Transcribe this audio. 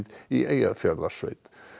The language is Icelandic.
í Eyjafjarðarsveit